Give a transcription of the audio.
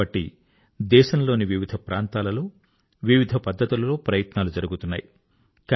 కాబట్టి దేశంలోని వివిధ ప్రాంతాలలో వివిధ పద్ధతులలో ప్రయత్నాలు జరుగుతున్నాయి